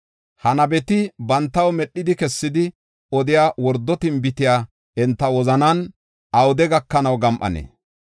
Ha nabeti bantaw medhidi kessidi odiya wordo tinbitey enta wozanan awude gakanaw gam7anee?